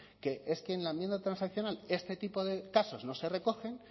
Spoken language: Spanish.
que es que en la enmienda transaccional este tipo de casos no se recogen